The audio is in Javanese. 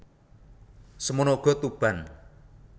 Semana uga Tuban